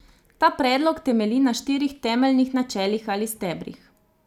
Ta predlog temelji na štirih temeljnih načelih ali stebrih.